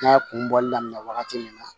N'a kun bɔli daminɛ wagati min na